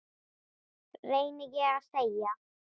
reyni ég að segja.